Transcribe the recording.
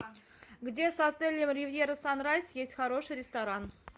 где с отелем ривьера санрайз есть хороший ресторан